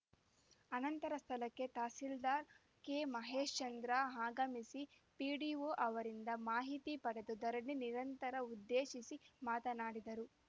ಆನಂತರ ಸ್ಥಳಕ್ಕೆ ತಸೀಲ್ದಾರ್‌ ಕೆಮಹೇಶ್‌ಚಂದ್ರ ಆಗಮಿಸಿ ಪಿಡಿಒ ಅವರಿಂದ ಮಾಹಿತಿ ಪಡೆದು ಧರಣಿ ನಿರತರನ್ನು ಉದ್ದೇಶಿಸಿ ಮಾತನಾಡಿದರು